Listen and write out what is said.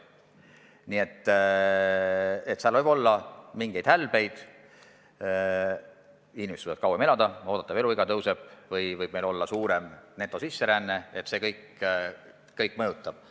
Võib ette tulla mingeid hälbeid, inimesed võivad kauem elada, oodatav eluiga tõusta ja netosisseränne suureneda – see kõik mõjutab.